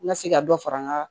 N ka se ka dɔ fara n ka